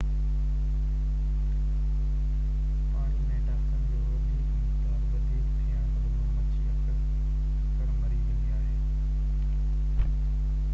پاڻي ۾ ٽاڪسن جو وڌيڪ مقدار وڌيڪ ٿيڻ سبب مڇي اڪثر مري ويندي آهي